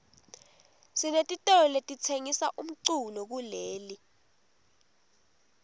sinetitolo letitsengisa umculo kuleli